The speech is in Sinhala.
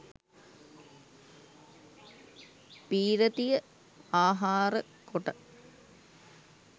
පී්‍රතිය ආහාරකොට,